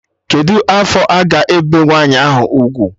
Kedụ afọ a ga-ebe nwa nwaanyị ahụ ugwu?